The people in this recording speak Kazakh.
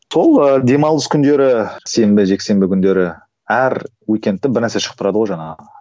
сол ыыы демалыс күндері сенбі жексенбі күндері әр бір нәрсе шығып тұрады ғой жаңағы